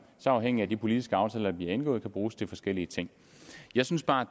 så afhængigt af de politiske aftaler vi indgår kan bruges til forskellige ting jeg synes bare